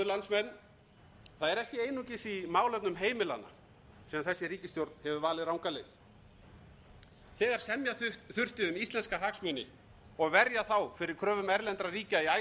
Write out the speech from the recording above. er ekki einungis í málefnum heimilanna sem þessi ríkisstjórn hefur valið ranga leið þegar semja þurfti um íslenska hagsmuni og verja þá fyrir kröfum erlendra ríkja í